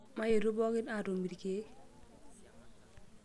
maayetu pooki matuun ilkeek